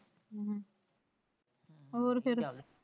ਹੋਰ ਫ਼ੇਰ।